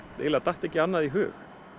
eiginlega datt ekki annað í hug